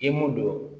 I m'o don